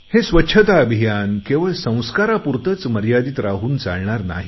हे स्वच्छता अभियान केवळ संस्कारापुरतेच मर्यादित राहून चालणार नाही